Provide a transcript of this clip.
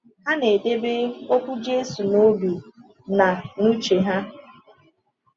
Ha ga-edebe okwu Jésù n’obi na n’uche ha.